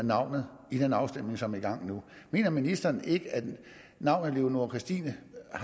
navnet i den afstemning som er i gang nu mener ministeren ikke at navnet leonora christina